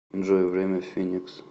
джой время в финикс